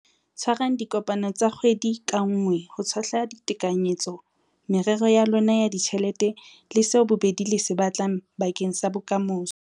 Tshwarang dikopano tsa kgwedi ka nngwe ho tshohla ditekanyetso, merero ya lona ya ditjhelete le seo bobedi le se batlang bakeng sa bokamoso.